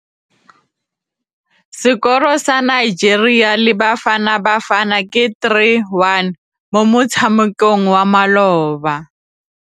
Sekôrô sa Nigeria le Bafanabafana ke 3-1 mo motshamekong wa malôba.